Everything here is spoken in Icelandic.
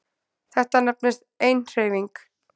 Þetta nefnist eiginhreyfing.